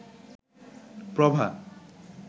প্রভা